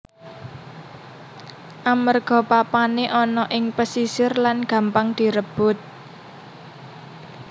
Amerga papané ana ing pesisir lan gampang direbut